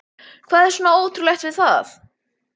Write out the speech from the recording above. Hvað er svona ótrúlegt við það?